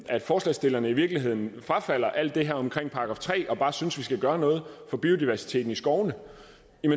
at forslagsstillerne i virkeligheden frafalder alt det her med § tre og bare synes at vi skal gøre noget for biodiversiteten i skovene